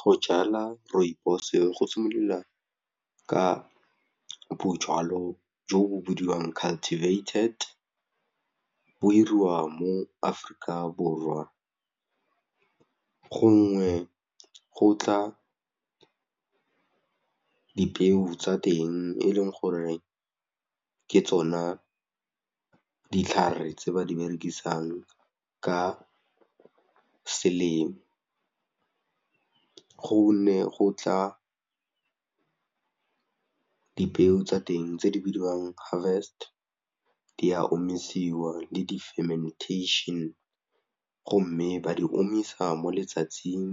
Go jala rooibos-e go simolola ka bojalo jo bo bidiwang cultivated, bo 'iriwa mo Aforika Borwa gongwe go tla dipeo tsa teng e leng gore ke tsona ditlhare tse ba di berekisang ka selemo, go ne go tla dipeo tsa teng tse di bidiwang harvest di a omisiwa le di-fementation go mme ba di omisa mo letsatsing